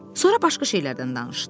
Sonra başqa şeylərdən danışdılar.